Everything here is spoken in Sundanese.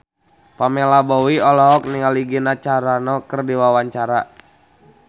Pamela Bowie olohok ningali Gina Carano keur diwawancara